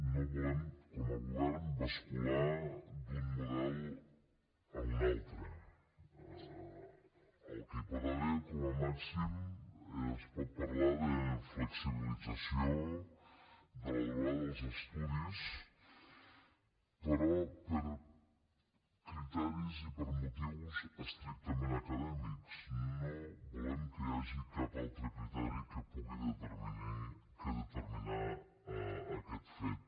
no volem com a govern bascular d’un model a un altre el que hi pot haver com a màxim es pot parlar de flexibilització de la durada dels estudis però per criteris i per motius estrictament acadèmics no volem que hi hagi cap altre criteri que pugui determinar aquest fet